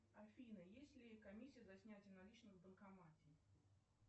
афина есть ли комиссия за снятие наличных в банкомате